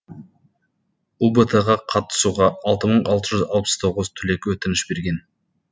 ұбт ға қатысуға алты мың алты жүз алпыс тоғыз түлек өтініш берген